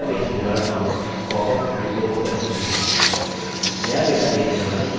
database wizard नामक एक popअप window opens होती है